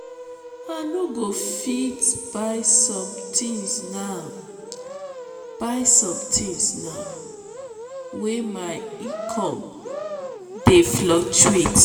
i no go fit buy sometins now buy sometins now wey my income dey fluctuate.